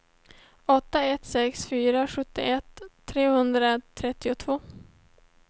åtta ett sex fyra sjuttioett trehundratrettiotvå